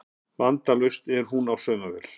Vandalaust því hún á saumavél